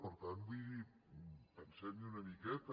per tant vull dir pensem hi una miqueta